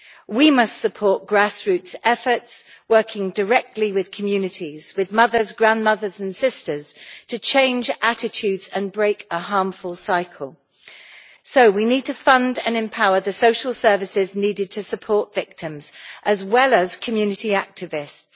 We must support grassroots efforts working directly with communities, with mothers, grandmothers and sisters, to change attitudes and break a harmful cycle. We need to fund and empower the social services needed to support victims as well as community activists.